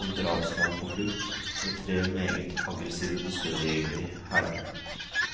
som drapsmann på flukt, med tre meget aggressive dusørjegere i hælene.